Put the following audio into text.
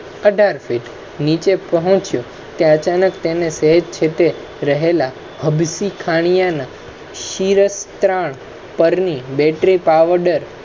અઢાર ફીટ નીચે પહોંચી તે અચાનક તેને રહેલા હબસી ખાનીયા ના ત્રણ Battery powder